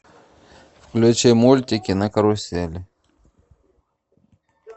включи мультики на карусели